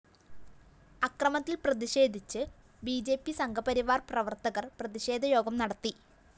അക്രമത്തില്‍ പ്രതിഷേധിച്ച് B J P Sangh Parivar‍ പ്രവര്‍ത്തകര്‍ പ്രതിഷേധയോഗം നടത്തി